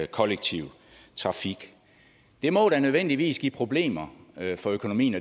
kollektive trafik det må da nødvendigvis give problemer for økonomien